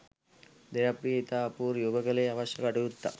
දේවප්‍රිය ඉතා අපූරුයි ඔබ කළේ අවශ්‍ය කටයුත්තක්.